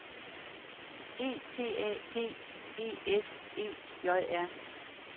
E T A P E S E J R